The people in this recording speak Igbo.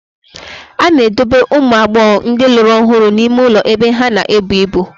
A na-edobe ụmụ agbọghọ ndị lụrụ ọhụrụ n'ime ụlọ ebe ha na-ebu ibu.